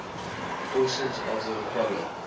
portions of the apollo